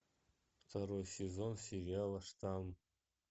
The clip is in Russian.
второй сезон сериала штамм